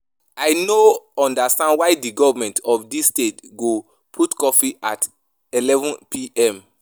I know understand why the government of dis state go put curfew at 11pm